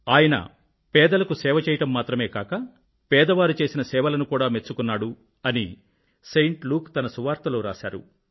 ఆయన పేదలకు సేవ చేయడం మాత్రమే కాక పేదవారు చేసిన సేవలను కూడా మెచ్చుకున్నారు అని సెయింట్ ల్యూక్ తన సువార్తలో రాశారు